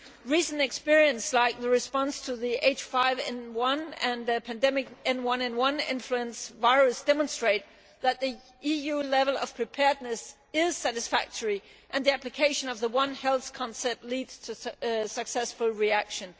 Recent experience, like the response to the H5N1 and the pandemic H1N1 influenza virus, demonstrates that the EU level of preparedness is satisfactory and the application of the one health concept leads to successful reaction.